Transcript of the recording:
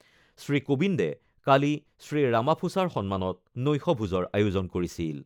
শ্ৰীকোবিন্দে কালি শ্ৰীৰামাফোচাৰ সন্মানত নৈশভোজৰ আয়োজন কৰিছিল।